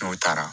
N'u taara